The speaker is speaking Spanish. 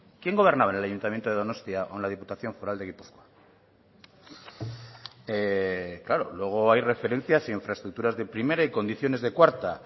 quién gobernaba en el ayuntamiento de donostia o en la diputación foral de gipuzkoa claro luego hay referencias a infraestructuras de primera y condiciones de cuarta